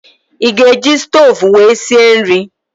I ga-eji stoovú wee sie nri?